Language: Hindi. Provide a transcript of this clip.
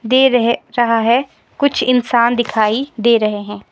दे रहे रहा है कुछ इंसान दिखाई दे रहे हैं।